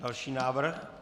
Další návrh.